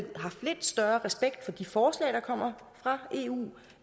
haft lidt større respekt for de forslag der kommer fra eu